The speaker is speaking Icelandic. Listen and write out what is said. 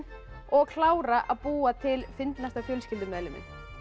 og klára að búa til fyndnasta fjölskyldumeðliminn